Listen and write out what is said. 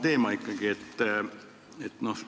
Jätkan ikkagi sedasama teemat.